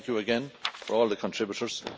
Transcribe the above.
Thank you again to all the contributors.